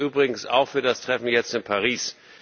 Das gilt übrigens auch für das Treffen jetzt in Paris.